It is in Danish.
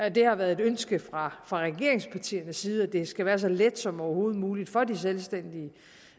og det har været ønske fra regeringspartiernes side at det skal være så let som overhovedet muligt for de selvstændige